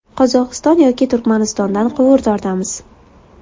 Qozog‘iston yoki Turkmanistondan quvur tortamiz.